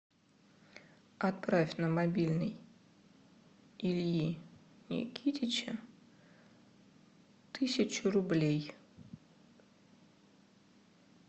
отправь на мобильный ильи никитича тысячу рублей